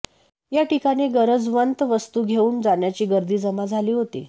याठिकाणी गरजवंत वस्तू घेऊन जाण्यासाठी गर्दी जमा झाली होती